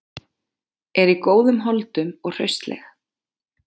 Er í góðum holdum og hraustleg.